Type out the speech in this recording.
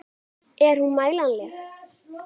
Er hún mælanleg?